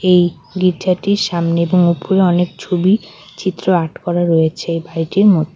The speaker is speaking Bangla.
এই গির্জাটির সামনে এবং উপরে অনেক ছবি চিত্র আর্ট করা রয়েছে বাড়িটির মধ্যে।